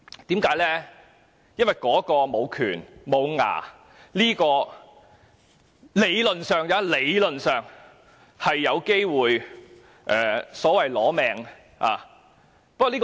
因為專責委員會無權、"無牙"，但彈劾議案理論上有機會"攞命"，攞特首的命。